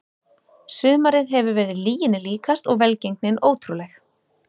Sumarið hefur verið lyginni líkast og velgengnin ótrúleg.